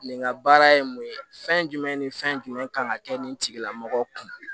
Nin ka baara ye mun ye fɛn jumɛn ni fɛn jumɛn kan ka kɛ nin tigilamɔgɔ kun